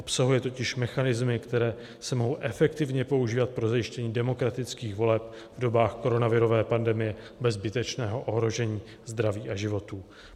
Obsahuje totiž mechanismy, které se mohou efektivně používat pro zajištění demokratických voleb v dobách koronavirové pandemie bez zbytečného ohrožení zdraví a životů.